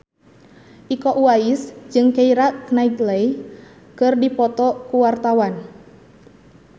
Iko Uwais jeung Keira Knightley keur dipoto ku wartawan